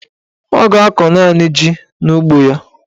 Ọ ga-akọ naanị ji n'ugbo ya.